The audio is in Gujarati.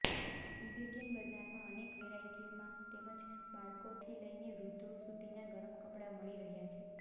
તિબેટીયન બજારમાં અનેક વેરાયટીમાં તેમજ બાળકોથી લઈને વૃધ્ધો સુધીના ગરમ કપડા મળી રહ્યા છે